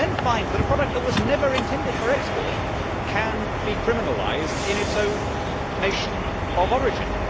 You can then find that a product that was never intended for export can be criminalised in its own nation of origin.